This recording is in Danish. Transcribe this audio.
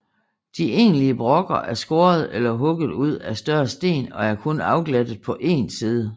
De egentlige brokker er skåret eller hugget ud af større sten og er kun afglattet på én side